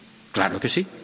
claro que sí.